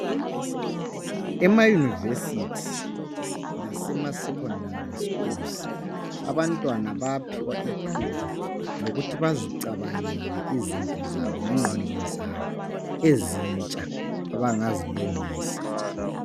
Emayunivesithi lasemasecondary schools abantwana bayanikwa ithuba lokuthi bazicabangele izinto zabo ngengqondo zabo ezintsha abangazilungisa.